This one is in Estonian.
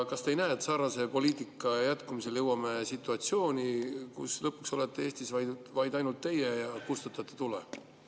Kas te ei näe, et sarnase poliitika jätkumisel jõuame situatsiooni, kus lõpuks olete Eestis vaid teie ja kustutate tule?